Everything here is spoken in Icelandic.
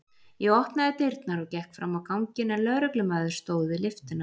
Ég opnaði dyrnar og gekk fram á ganginn en lögreglumaður stóð við lyftuna.